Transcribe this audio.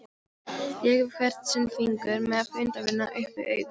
Lék við hvern sinn fingur með myndavélina upp við auga.